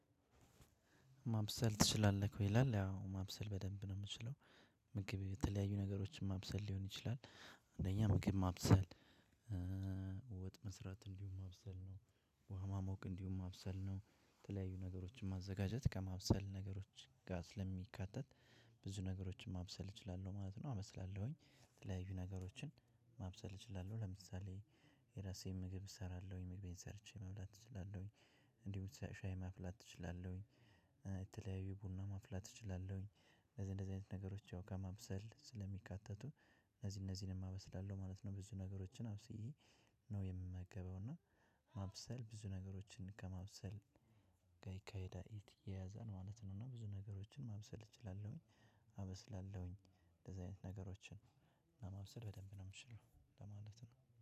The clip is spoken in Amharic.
አይ። ምግብ የተለያዩ ነገሮች ማብሰል ሊሆን ይችላል አንደኛ ምግብ ማብሰል። ወጥ መስራት እንዲሁም ማብሰል ነው ውሃ ማሞቅ እንዲሁም ማብሰል ነው። ተለያዩ ነገሮችን ማዘጋጀት ከማብሰል ነገሮች ጋር ስለሚካተት ብዙ ነገሮችን ማብሰል እችላለሁ ማለት ነው አበስላለሁኝ። የተለያዩ ነገሮችን ማብሰል እችላለሁ ለምሳሌ የራሴን ምግብ እሰራለሁኝ ምግቤን ሰርቼ መብላት እችላለሁኝ። እንዲሁ ሻይ ማፍላት እችላለሁኝ። የተለያዩ ቡና ማፍላት እችላለሁኝ። እንደዚህ እንደዚህ አይነት ነገሮች ያው ከማብሰል ስለሚካተቱ እነዚህ እነዚህን አበስላለው ማለት ነው። ብዙ ነገሮችን አብስዬ ነው የምመገበው እና። ማብሰል ብዙ ነገሮችን ከማብሰል ጋ ይካሄዳል ይያያዛል ማለት ነው። እና ብዙ ነገሮችን ማብሰል እችላለሁኝ አበስላለሁኝ እንደዚህ አይነት ነገሮችን። ለማብሰል በደንብ ነው ምችለው ለማለት ነው